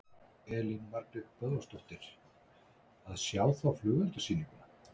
Elín Margrét Böðvarsdóttir: Að sjá þá flugeldasýninguna?